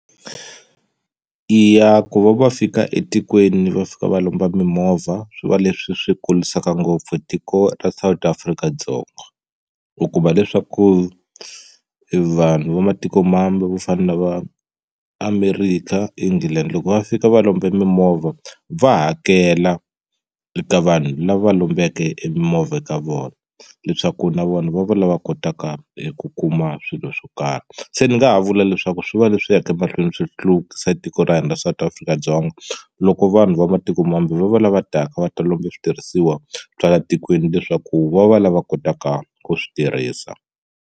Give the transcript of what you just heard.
Eya ku va va fika etikweni va fika va lomba mimovha swi va leswi swi kurisaka ngopfu tiko ra South Afrika-Dzonga u kuma leswaku vanhu va matikomambe vo fana na va America England loko va fika va lombe mimovha va hakela eka vanhu lava lombeke emimovha ka vona leswaku na vona va va lava kotaka eku kuma swilo swo karhi se ni nga ha vula leswaku swi va leswi yaka mahlweni swi hluvukisa tiko ra hina ra South Afrika-Dzonga loko vanhu va matiko mambe va va lava taka va ta lomba switirhisiwa swa laha tikweni leswaku va va lava kotaka ku swi tirhisa.